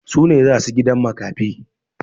Su ne za su gidan makafi.